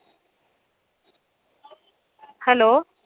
Hello